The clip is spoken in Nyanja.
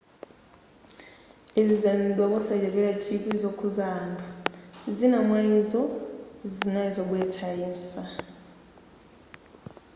izi zanenedwa kosachepera chikwi zokhuza anthu koma zina mwayizo zinali zobweretsa imfa